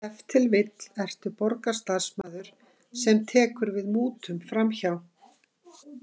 Ef til vill ertu borgarstarfsmaður sem tekur við mútum framhjá.